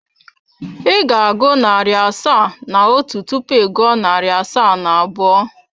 Ị ga-agụ narị asaa na otu tupu ị gụọ narị asaa na abụọ.